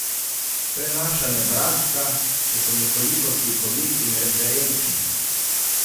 To je naša Nebraska, če sem nekoliko slikovit in referenčen.